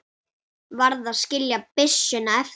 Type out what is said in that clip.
Varð að skilja byssuna eftir.